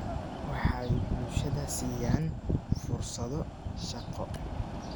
Waxay bulshada siiyaan fursado shaqo.